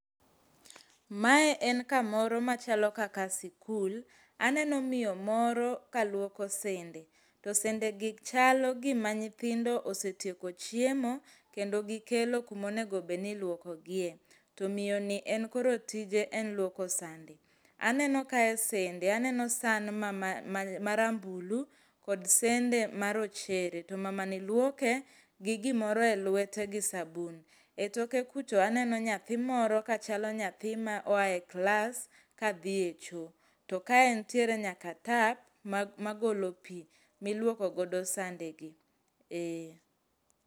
Mae en kamoro machalo kaka sikul. Aneno miyo moro kaluoko sende. To sendegi chalo gima nyithindo osetieko chiemo kendo gikelo kumonego bedni iluokogie. To miyoni en koro tije en luoko sande. Aneno kae sende. Aneno san ma rambulu kod sende ma rochere. To mamani luoke gi gimoro e lwete gi sabun.E toke kucho aneno nyathi moro kachalo nyathi ma oae klas kadhie choo. Ka ntiere nyaka tap magolo pii miluoko godo sandegi. Eee.